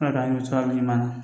Ala ka hami sira duman